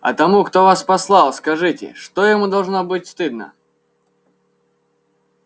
а тому кто вас послал скажите что ему должно быть стыдно